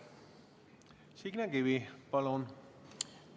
Signe Kivi, palun!